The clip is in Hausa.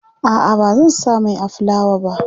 a'a bazan sa Mai a fulawa ba